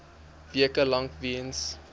weke lank weens